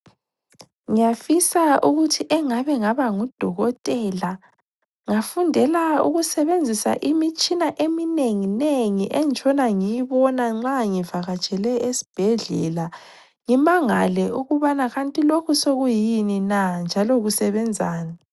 Ngiyafisa ukuthi engabe ngaba ngudokotela, ngafundela ukusebenzisa imtshina eminenginengi engitshona ngiyibona nxa ngivakatshele esibhedlela, ngimangale ukuthi kanti lokhu sokuyini na njalo kusebenzani.